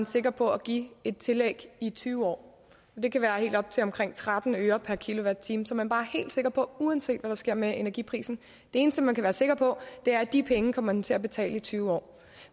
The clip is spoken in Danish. sikker på at give et tillæg i tyve år det kan være helt op til tretten øre per kilowatt time som man bare er helt sikker på uanset hvad der sker med energiprisen det eneste man kan være sikker på er at de penge kommer man til at betale i tyve år